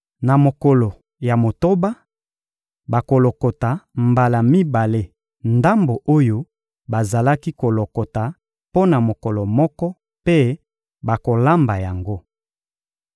Na mokolo ya motoba, bakolokota mbala mibale ndambo oyo bazalaki kolokota mpo na mokolo moko mpe bakolamba yango.